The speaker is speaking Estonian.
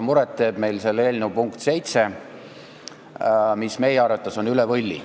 Muret teeb meile eelnõu punkt 7, mis meie arvates on läinud üle võlli.